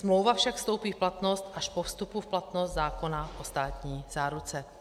Smlouva však vstoupí v platnost až po vstupu v platnost zákona o státní záruce.